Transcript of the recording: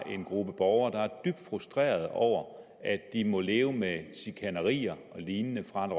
en gruppe borgere der er dybt frustrerede over at de må leve med chikanerier og lignende fra